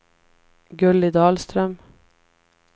Gulli Dahlström